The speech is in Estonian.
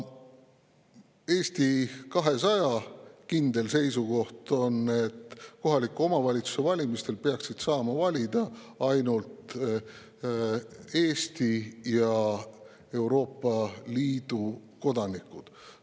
Eesti 200 kindel seisukoht on, et kohaliku omavalitsuse valimistel peaksid saama valida ainult Eesti ja Euroopa Liidu kodanikud.